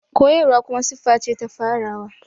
Koyarwa kuma siffa ce ta farawa.